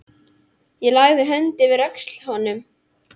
Ég lagði höndina yfir öxl honum.